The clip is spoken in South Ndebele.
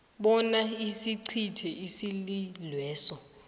bona isicithe isililweso